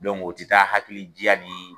o tɛ taa ni hakili diya ni